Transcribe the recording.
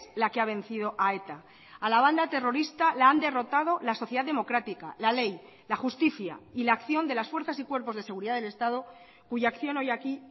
la que ha vencido a eta a la banda terrorista la han derrotado la sociedad democrática la ley la justicia y la acción de las fuerzas y cuerpos de seguridad del estado cuya acción hoy aquí